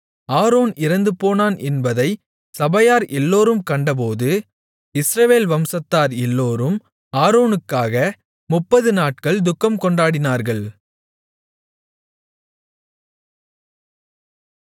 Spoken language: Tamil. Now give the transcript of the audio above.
ஆரோன் இறந்துபோனான் என்பதைச் சபையார் எல்லோரும் கண்டபோது இஸ்ரவேல் வம்சத்தார் எல்லோரும் ஆரோனுக்காக 30 நாட்கள் துக்கம்கொண்டாடினார்கள்